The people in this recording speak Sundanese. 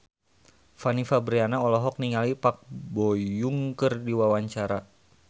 Fanny Fabriana olohok ningali Park Bo Yung keur diwawancara